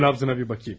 Dur, nəbzinə bir baxım.